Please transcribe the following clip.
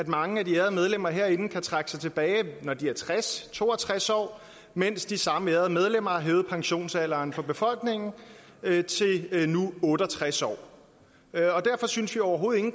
mange af de ærede medlemmer herinde kan trække sig tilbage når de er tres to og tres år mens de samme ærede medlemmer har hævet pensionsalderen for befolkningen til nu otte og tres år derfor synes vi overhovedet ikke